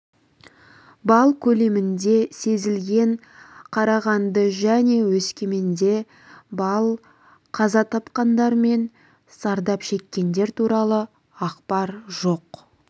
балл көлемінде сезілген қарағанды және өскеменде балл қаза тапқандар мен зардап шеккендер туралы ақпар жоқ